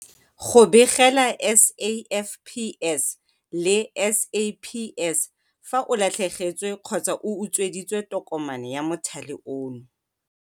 Go begela SAFPS le SAPS fa o latlhegetswe kgotsa o utsweditswe tokomane ya mothale ono